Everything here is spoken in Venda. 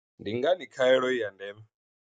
Ndi ngani khaelo i ya ndeme?